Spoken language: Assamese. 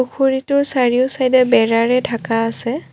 পুখুৰীটোৰ চাৰিও চাইড ডে বেৰাৰে ঢাকা আছে।